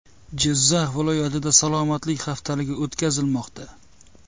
Jizzax viloyatida salomatlik haftaligi o‘tkazilmoqda.